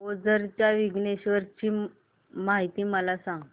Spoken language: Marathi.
ओझर च्या विघ्नेश्वर ची महती मला सांग